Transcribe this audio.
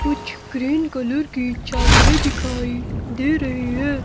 कुछ green colour की चादरे दिखाई दे रही है।